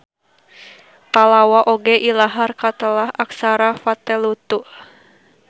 Pallawa oge ilahar katelah aksara Vatteluttu.